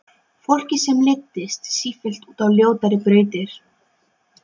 Fólki sem leiddist sífellt út á ljótari brautir.